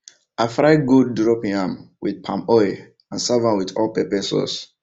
i fry gold drop yam with palm oil and serve am with hot pepper sauce